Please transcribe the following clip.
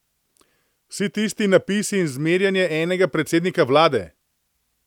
Vsi tisti napisi in zmerjanje enega predsednika vlade!